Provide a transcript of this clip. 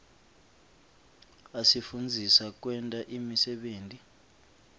asifundzisa kwenta imisebenti